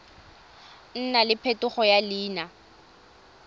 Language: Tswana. nna le phetogo ya leina